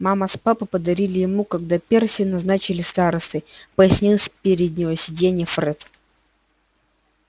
мама с папой подарили ему когда перси назначили старостой пояснил с переднего сиденья фред